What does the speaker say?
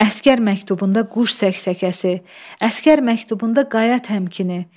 Əsgər məktubunda quş səksəkəsi, əsgər məktubunda qaya təmkinini.